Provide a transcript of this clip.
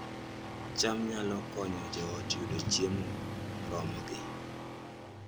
cham nyalo konyo joot yudo chiemo moromogi